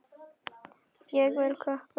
Ég vil kökur.